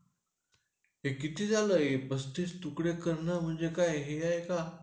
ते किती पस्तीस तुकडे करणं म्हणजे काय हे आहे का?